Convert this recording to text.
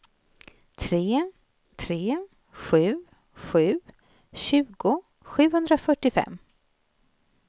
tre tre sju sju tjugo sjuhundrafyrtiofem